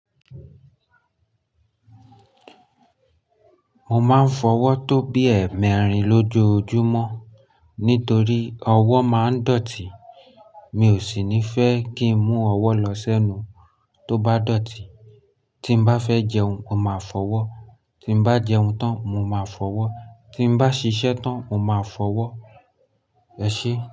Mo máa ń fọwọ́ tó bí ẹẹ́mẹrin lójoojúmọ́ nítorí ọwọ́ máa ń dọ̀tí. Mi ò sì ní fẹ́ kí ń mú ọwọ́ lọ sẹ́nu tó bá dọ̀tí. Tí bá fẹ́ jẹun, mo máa fọwọ́, tí mo bá jẹun tán, mo máa fọwọ́, tí bá ṣiṣẹ́ tán, mo máa fọwọ́. Ẹ ṣé.